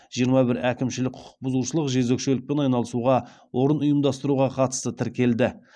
жиырма бір әкімшілік құқық бұзушылық жезөкшелікпен айналысуға орын ұйымдастыруға қатысты тіркелді